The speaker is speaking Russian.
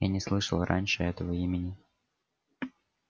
я не слышал раньше этого имени